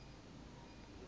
a a swi kota ku